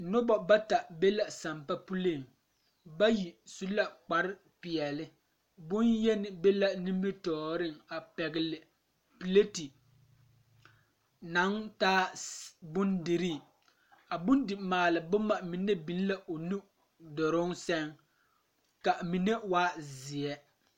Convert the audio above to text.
Nobɔ bata be la sampa puliŋ bayi su la kpare peɛle bonyeni be la nimitooreŋ a pɛgle pilate naŋ taa bondirii a bondimaale boma mine biŋ la o nu duruŋ sɛŋ ka mine waa zeɛ.